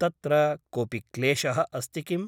तत्र कोऽपि क्लेशः अस्ति किम् ?